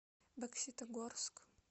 бокситогорск